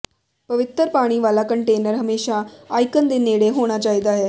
ਪਵਿੱਤਰ ਪਾਣੀ ਵਾਲਾ ਕੰਟੇਨਰ ਹਮੇਸ਼ਾ ਆਈਕਨ ਦੇ ਨੇੜੇ ਹੋਣਾ ਚਾਹੀਦਾ ਹੈ